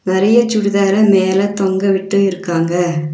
நெறைய சுடிதார மேல தொங்கவிட்டு இருக்காங்க.